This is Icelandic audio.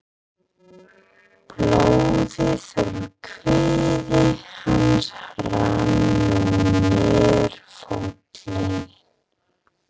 Blóðið úr kviði hans rann nú niður fótlegginn.